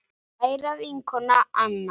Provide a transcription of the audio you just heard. Kæra vinkona Anna.